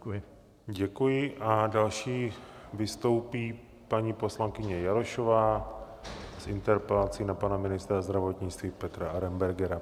Děkuji a další vystoupí paní poslankyně Jarošová s interpelací na pana ministra zdravotnictví Petra Arenbergera.